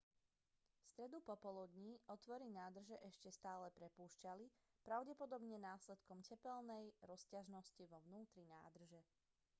v stredu popoludní otvory nádrže ešte stále prepúšťali pravdepodobne následkom tepelnej rozťažnosti vo vnútri nádrže